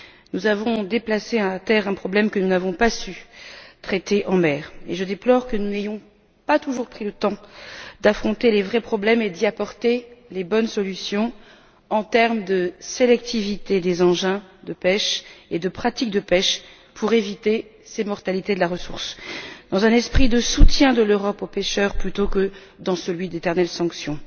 Nous avons déplacé à terre un problème que nous n'avons pas su traiter en mer, et je déplore que n'ayons pas toujours pris le temps d'affronter les vrais problèmes et d'y apporter les bonnes solutions en termes de sélectivité des engins de pêche et des pratiques de pêche pour éviter cette mortalité de la ressource, dans un esprit de soutien de l'Europe aux pêcheurs plutôt que dans celui d'éternelles sanctions.